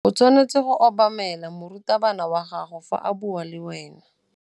O tshwanetse go obamela morutabana wa gago fa a bua le wena.